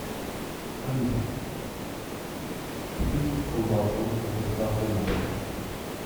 алиса купить колбасу с доставкой на дом